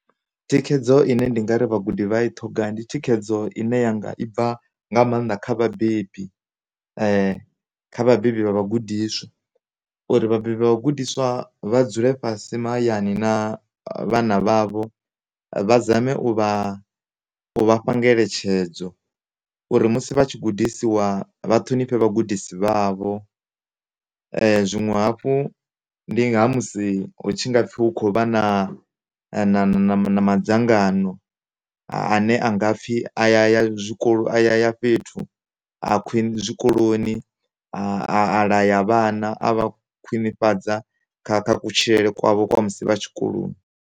Thikhedzo ine nda nga amba uri vhagudi vha ya i ṱhoga ndi thikhedzo ine ya nga i bva kha vhabebi kha vhabebi vha vhagudiswa uri vhabebi vha vhagudiswa vha dzule fhasi mahayani na vhana vhavho vha zame u vha fha ngeletshedzo uri musi vha tshi gudisiwa vha ṱhonifhe vha gudisi vhavho. Zwiṅwe hafhu ndi musi hu tshu ngapfhi hu kho vha na, nama, nama, na madzangano ane angapfhi a ya ya zwikolo a ya ya fhethu a khwi zwikoloni a laya vhana a vha khwinifhadza kha kutshilele kwavho kwa musi vha tshikoloni.